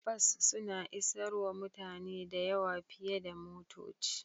Bas suna isarwa mutane da yawa fiyar da motoci.